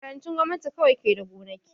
Makarantun gwamnati kawai ke da gonaki